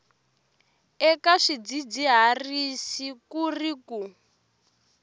eka swidzidziharisi ku ri ku